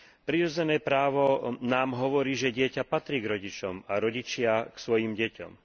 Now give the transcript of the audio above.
Prirodzené právo nám hovorí, že dieťa patrí k rodičom a rodičia k svojim deťom.